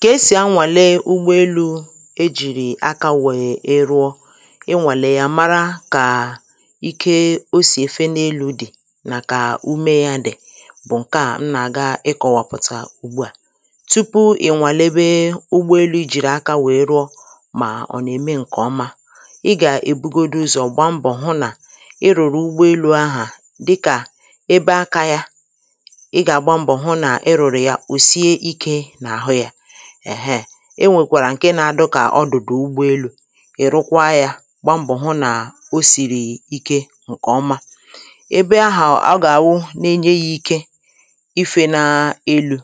Kà esì anwàle ụgbọelū ejìrì aka wee rụọ inwàlè yà mara kà ike o sì èfe n’elū dị̀ nà kà ume yā dị̀ bụ̀ ǹke à m nà àga ịkọ̄wàpụ̀tà ùgbu à tupu ị̀ nwàlebe ụgbọelū ị jìrì aka wee rụọ mà ọ̀ nà-ème ǹkè ọma ị gà èbugodu ụzọ̀ gba mbọ̀ hụ nà ị rụ̀rụ̀ ụgbọelū ahà dịkà ebe akā ya ị gà àgba mbọ̀ hụ nà ị rụ̀rụ̀ yà ò sie ikē n’àhụ yā èhe e nwèkwàrà ǹke nā-adụ kà ọdụ̀dụ̀ ụgbọelū ị̀ rụkwa yā gba mbọ̀ hụ nà o sìrì ike ǹkè ọma ebe ahụ̀ ọ gà-àwụ na-enye yā ike ifē na elū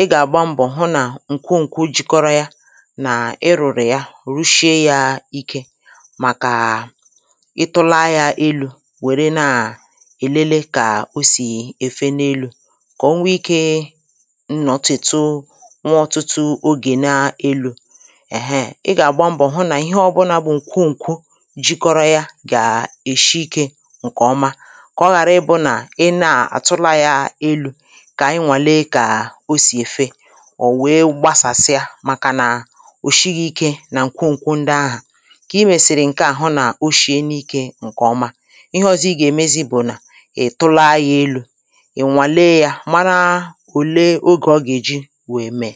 ị gà àgba mbọ̀ hụ nà ǹkwu nkwu jikọrọ ya nà ị rụ̀rụ̀ ya rụshie yā ike màkà ị tụla yā elū wère na èlele kà o sì èfe n’elū kà o nwe ikē nọ̀tìtu nwe ọ̀tụtụ ogè na elū èhe ị gà àgba mbọ̀ hụ nà ihe ọbụnā bụ ǹkwu ǹkwu jikọrọ ya gà èshi ikē ǹkè ọma kà ọ ghàra ịbụ̄ nà ị naa àtụla yā elū kà ị ǹwale kà o sì èfe ò wee gbasàsịa màkà nà ò shighị̄ ike nà ǹkwu ǹkwu ndị ahà kà ị mèsị̀rì ǹkè a hụ nà o shiena ikē ǹkè ọma ihe ọzọ ị gà-èmezi bụ̀ nà ị̀ tụla yā elū ị̀ ǹwale yā mara òle ogè ọ gà-èji wee me